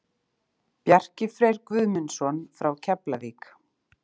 Bjarki Freyr Guðmundsson frá Keflavík